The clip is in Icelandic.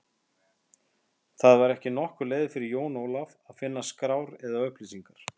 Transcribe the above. Það var ekki nokkur leið fyrir Jón Ólaf að finna skrár eða upplýsingar.